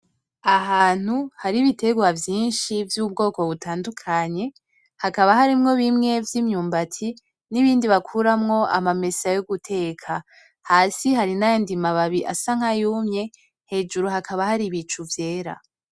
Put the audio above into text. Ahantu hari ibitegwa vyinshi vy’ubwoko butandukanye hakaba harimwo bimwe vy’imyumbati n’ibindi bakuramwo amamesa yo guteka. Hasi hari n’ayandi mababi asa nkayumye hejuru hakaba hari ibicu vyera.